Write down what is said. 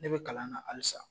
Ne bɛ kalan na alisa.